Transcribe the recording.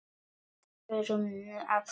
Förum nú að sofa.